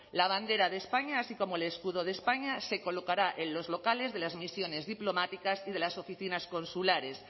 la bandera de españa así como el escudo de españa se colocará en los locales de las misiones diplomáticas y de las oficinas consulares